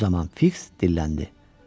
Bu zaman Fiks dilləndi: